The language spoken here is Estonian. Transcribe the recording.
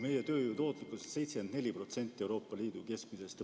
Meie tööjõu tootlikkus on 74% Euroopa Liidu keskmisest.